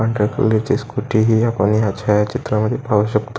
पांढऱ्या कलरची स्कुटी ही आपण ह्या छाया चित्रा मध्ये पाहु शकतो.